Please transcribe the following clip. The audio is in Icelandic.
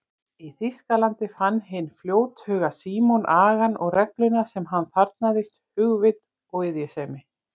Í Þýskalandi fann hinn fljóthuga Símon agann og regluna sem hann þarfnaðist, hugvit og iðjusemi.